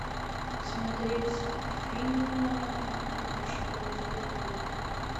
смотреть фильм бегущий по лезвию бритвы